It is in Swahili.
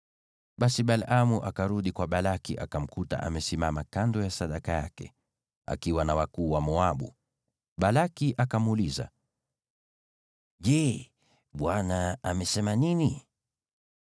Basi Balaamu akarudi kwa Balaki, akamkuta amesimama kando ya sadaka yake, akiwa na wakuu wa Moabu. Balaki akamuuliza, “Je, Bwana amesema nini?”